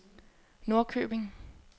Norrköping